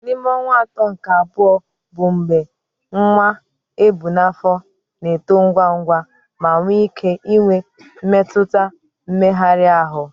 N'ime ọnwa atọ nke abụọ bụ mgbe nwa ebu n'afọ na-eto ngwa ngwa ma nwee ike inwe mmetụta mmegharị ahụ.